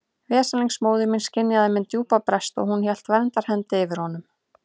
Veslings móðir mín skynjaði minn djúpa brest og hún hélt verndarhendi yfir honum.